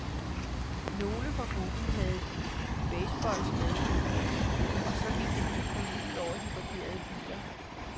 Nogle fra gruppen havde baseballbats med, og så gik det lige pludselig ud over de parkerede biler.